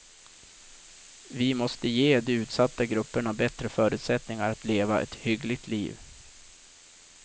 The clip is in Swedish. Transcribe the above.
Vi måste ge de utsatta grupperna bättre förutsättningar att leva ett hyggligt liv.